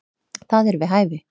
Það er við hæfi.